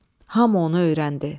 Hamı onu öyrəndi.